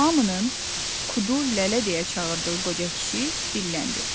Hamının Kudu lələ deyə çağırdığı qoca kişi dilləndi.